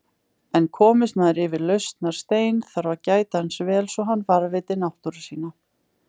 En komist maður yfir lausnarstein, þarf að gæta hans vel svo hann varðveiti náttúru sína.